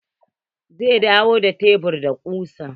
Zai dawo da shebur da kusa.